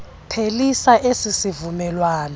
phelisa esi sivumelwano